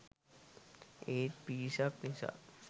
ඒත් පිරිසක් නිසා